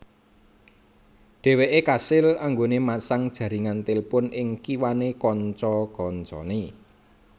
Dheweke kasil anggone masang jaringan telepon ing kiwane kanca kancane